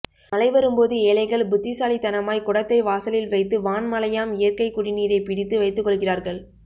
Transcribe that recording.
மழை வரும்போது ஏழைகள் புத்திசாலித்தனமாய் குடத்தை வாசலில் வைத்து வான் மழையாம் இயற்கைக்குடிநீரைப்பிடித்து வைத்துக்கொள்கிறார்கள்